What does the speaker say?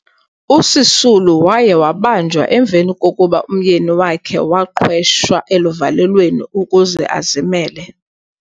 USisulu waye wabanjwa emveni kokuba umyeni wakhe waqhwesha eluvalelweni ukuze azimele